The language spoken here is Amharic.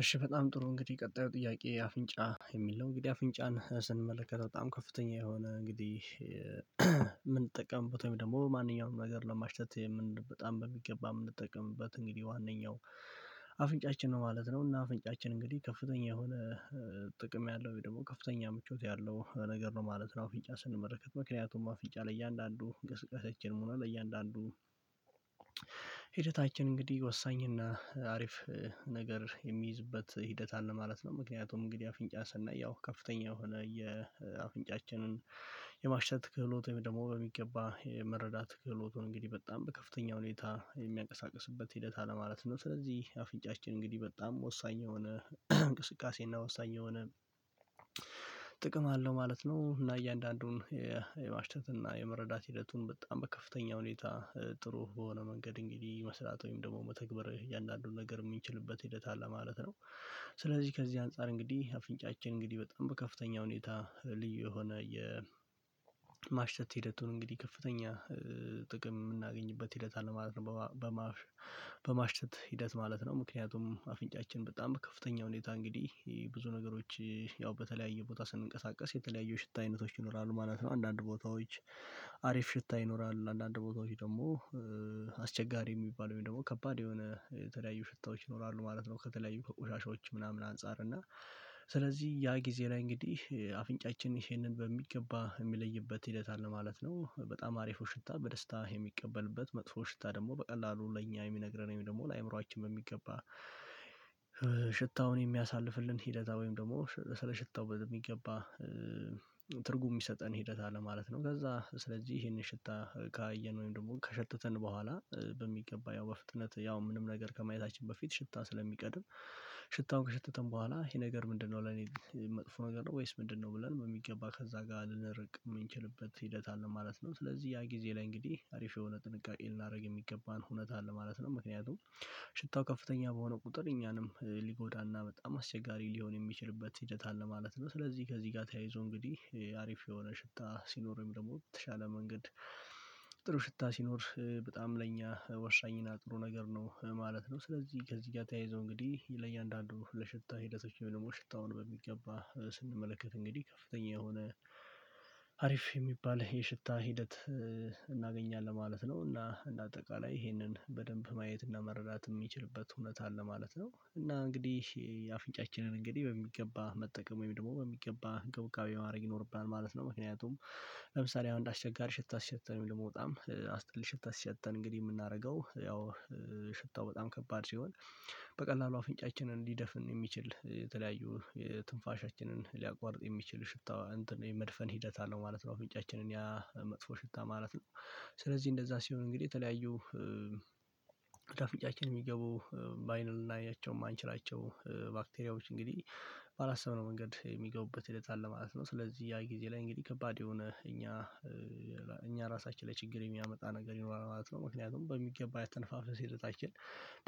እሺ በጣም ጥሩ እንግዲህ ቀጣዩ ጥያቄ አፍንጫ የሚል ነው። እንግዲህ አፍንጫን ስንመለከት በጣም ከፍተኛ የሆነ እንግዲህ የምንጠቀምበት ወይም ደግሞ ማንኛውም ነገር ለማሽተት የምን በጣም በሚገባ የምንጠቀምበት እንግዲህ ዋነኛው አፍንጫችን ነው ማለት ነው። እና አፍንጫችን እንግዲህ ከፍተኛ የሆነ ጥቅም ያለው ወይም ደግሞ ከፍተኛ ምቾት ያለው ነገር ነው ማለት ነው። አፍንጫ ስንመለከት ምክንያቱም አፍንጫ ለእያንዳንዱ እንቅስቃሴአችን ሆነ ለእያንዳንዱ ሂደታችን እንግዲህ ወሳኝ እና ነገር የሚይዝበት ሂደት አለ ማለት ነው። ምክንያቱም እንግዲህ አፍንጫ ሰናየው ከፍተኛ የሆነ የአፍንጫችንን የማሽተት ክህሎት ወይም ደግሞ በሚገባ የመረዳት ክህሎቱን እንግዲህ በጣም በከፍተኛ ሁኔታ የሚያንቀሳቅስበት ሂደት አለማለት ነው። ስለዚህ አፍንጫችን እንግዲህ በጣም ወሳኝ የሆነ እንቅስቃሴ እና ወሳኝ የሆነ ጥቅም አለው ማለት ነው። እና እያንዳንዱን የማሽተት እና የመረዳት ሂደቱን በጣም በከፍተኛ ሁኔታ ጥሩ በሆነ መንገድ እንግዲህ መስራት ወይም ደግሞ መተግበር እያንዳንዱን ነገር የምንችልበት ሂደት አለ ማለት ነው። ስለዚህ ከዚህ አንፃር እንግዲህ አፍንጫችን እንግዲህ በጣም በከፍተኛ ሁኔታ ልዩ የሆነ የማሽተት ሂደቱን እንግዲህ ከፍተኛ ጥቅም የምናገኝበት ሂደት አለ ማለት ነው። በማሽተት ሂደት ማለት ነው ምክንያቱም አፍንጫችን በጣም ከፍተኛ ሁኔታ እንግዲህ ብዙ ነገሮች ያው በተለያየ ቦታ ስንንቀሳቀስ የተለያየ ሽታ አይነቶች ይኖራሉ ማለት ነው። አንዳንድ ቦታዎች አሪፍ ሽታ ይኖራል አንዳንድ ቦታዎች ደግሞ አስቸጋሪ የሚባለው ወይም ደግሞ ከባድ የሆነ የተለያዩ ሽታዎች ይኖራሉ ማለት ነው። ከተለያዩ ከቆሻሻዎች ምናምን አንፃር እና ስለዚህ ያ ጊዜ ላይ እንግዲህ አፍንጫችን ይሄንን በሚገባ የሚለይበት ሂደት አለ ማለት ነው። በጣም አሪፉ ሽታ በደስታ የሚቀበልበት መጥፎ ሽታ ደግሞ በቀላሉ ለኛ የሚነግረን ደግሞ ለአእምሮአችን በሚገባ ሽታውን የሚያሳልፍልን ሂደት ወይም ደግሞ ስለ ሽታው በደንብ በሚገባ ትርጉም የሚሰጠን ሂደት አለ ማለት ነው። ከዛ ስለዚህ ይሄንን ሽታ ካየን ወይም ደግሞ ከሸተተን በኋላ በሚገባ ያው በፍጥነት ያው ምንም ነገር ከማየታችን በፊት ሽታ ስለሚቀድም ሽታውን ከሸተተን በኋላ ይሄ ነገር ምንድነው ለኔ መጥፎ ነገር ነው ወይስ ምንድነው ብለን የሚገባ ከዛ ጋር ልንርቅ የምንችልበት ሂደት አለ ማለት ነው። ስለዚህ ያ ጊዜ ላይ እንግዲህ አሪፍ የሆነ ጥንቃቄ ልናደርግ የሚገባን ሁኔታ አለ ማለት ነው። ምክንያቱም ሽታው ከፍተኛ በሆነ ቁጥር እኛንም ሊጎዳና በጣም አስቸጋሪ ሊሆን የሚችልበት ሂደት አለ ማለት ነው። ስለዚህ ከዚህ ጋር ተያይዞ እንግዲህ አሪፍ የሆነ ሽታ ሲኖር ወይም ደግሞ የተሻለ መንገድ ጥሩ ሽታ ሲኖር በጣም ለኛ ወሳኝና ጥሩ ነገር ነው ማለት ነው። ስለዚህ ከዚህ ጋር ተያይዞ እንግዲህ ለእያንዳንዱ ለሽታ ሂደቶች ወይም ደግሞ ሽታውን በሚገባ ስንመለከት እንግዲህ ከፍተኛ የሆነ አሪፍ የሚባል የሽታ ሂደት እናገኛለን ማለት ነው። እና እንደ አጠቃላይ ይሄንን በደንብ ማየት እና መረዳት የሚችልበት እውነት አለ ማለት ነው። እና እንግዲህ የአፍንጫችንን እንግዲህ በሚገባ መጠቀም ወይም ደግሞ በሚገባ እንክብካቤ ማድረግ ይኖርብናል ማለት ነው። ምክንያቱም ለምሳሌ አንድ አስቸጋሪ ሽታ ሲሸተን ወይም ደግሞ በጣም አስጠሊ ሽታ ሲሸተን እንግዲህ የምናደርገው ያው ሽታው በጣም ከባድ ሲሆን በቀላሉ አፍንጫችንን ሊደፍን የሚችል የተለያዩ ትንፋሻችንን ሊያቋርጥ የሚችል ሽፍታዋ የመድፈን ሂደት አለው ማለት ነው። እፍንጫችንን ያ መጥፎ ሽታ ማለት ነው። ስለዚህ እንደዛ ሲሆን እንግዲህ የተለያዩ ወደአፍንጫችን የሚገቡ በአይን ልናያቸው የማንችላቸው ባክቴሪያዎች እንግዲህ ባላሰብነው መንገድ የሚገቡበት ሂደት አለ ማለት ነው። ስለዚህ ያ ጊዜ ላይ እንግዲህ ከባድ የሆነ እኛ እኛ ራሳችን ላይ ችግር የሚያመጣ ነገር ይኖራል ማለት ነው። ምክንያቱም በሚገባ የአተነፋፈሰ ሂደታችን